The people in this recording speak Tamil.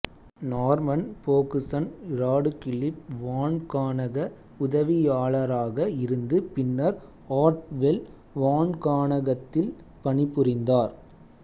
நார்மன் போகுசன் இராடுகிளிப் வான்காணக உதவியாளராக இருந்து பின்னர் ஆர்ட்வெல் வான்காணகத்தில் பணிபுரிந்தார்